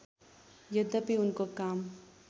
यद्यपि उनको काम